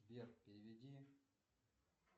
сбер переведи